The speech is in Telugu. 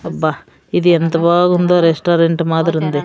అబ్బా ఇది ఎంత బాగుందో రెస్టారెంట్ మాదిరుంది.